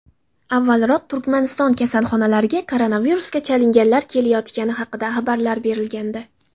Avvalroq Turkmaniston kasalxonalariga koronavirusga chalinganlar kelayotgani haqida xabarlar berilgandi .